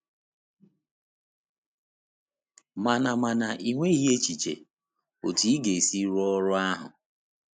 Mana Mana ị nweghị echiche otú ị ga-esi rụọ ọrụ ahụ.